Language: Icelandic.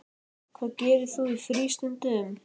Hvað gerir þú í frístundum?